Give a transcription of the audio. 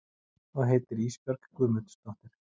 Og heitir Ísbjörg Guðmundsdóttir.